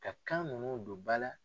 Ka kan minnu don ba la.